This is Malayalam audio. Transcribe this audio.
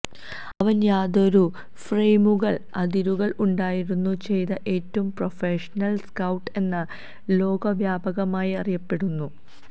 അവൻ യാതൊരു ഫ്രെയിമുകൾ അതിരുകൾ ഉണ്ടായിരുന്നു ചെയ്ത ഏറ്റവും പ്രൊഫഷണൽ സ്കൌട്ട് എന്ന ലോകവ്യാപകമായി അറിയപ്പെടുന്നു